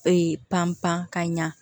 Ee pan pan ka ɲa